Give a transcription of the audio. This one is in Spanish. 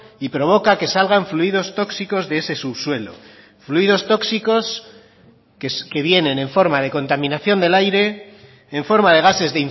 y provoca que salgan fluidos tóxicos de ese subsuelo fluidos tóxicos que vienen en forma de contaminación del aire en forma de gases